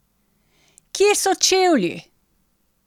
Kje so čevlji?